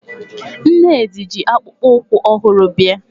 Nnedi ji akpụkpụ ụkwụ ọhụrụ bịa